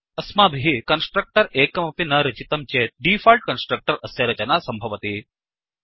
अस्माभिः कन्स्ट्रक्टर् एकमपि न रचितं चेत् डीफोल्ट् कन्स्ट्रक्टर् अस्य रचना सम्भवति